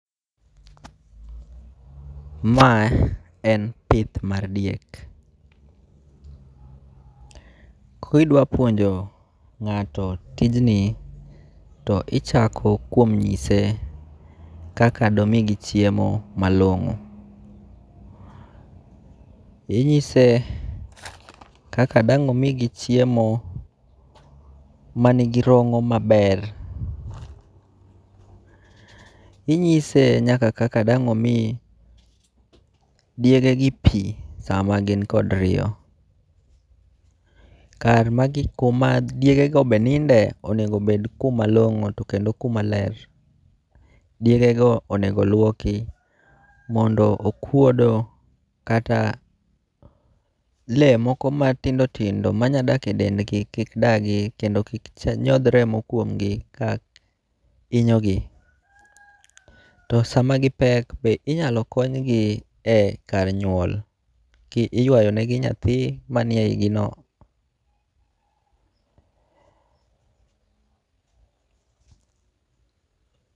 Ma en pith mar diek, kidwapuonjo nga'to tijni to ichako kuom nyise kaka domigi chiemo malongo', inyise kaka dang' omigi chiemo manigi rong'o maber, inyise nyaka kaka dang' omi diegegi pi sama gin kor riyo, kar ma gigo ma diegego be ninde onego bed kumalongo' to kendo kuma ler. iDegego onego luoki mondo okuodo kata le moko ma tindo tindo manya dak e dendgi kik dagi mondo kik nyoth remo kuomgi ka inyogi, to sama gi pek be inyalo konygi e kar nyuol be iyuayonegi nyathi manie yigino.